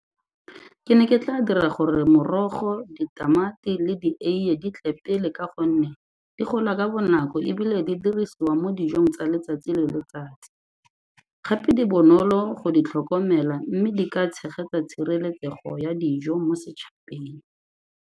Ke ne ke tla dira gore morogo, ditamati le dieiye di tle pele ka gonne di gola ka bonako ebile di dirisiwa mo dijong tsa letsatsi le letsatsi, gape di bonolo go di tlhokomela mme di ka tshegetsa tshireletsego ya dijo mo setšhabeng.